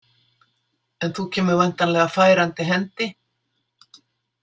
En þú kemur væntanlega færandi hendi?